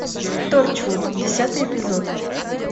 торчвуд десятый эпизод